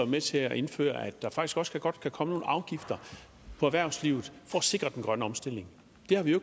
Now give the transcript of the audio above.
med til at indføre at der faktisk også godt kan komme nogle afgifter på erhvervslivet for at sikre den grønne omstilling det har vi jo